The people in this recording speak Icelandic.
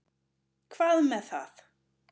Hvað með það.